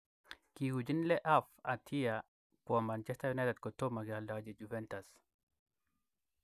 Kiuchin Le Havre atia kwo Manchester United kotomo kealdachi Juventus.